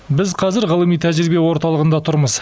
біз қазір ғылыми тәжірибе орталығында тұрмыз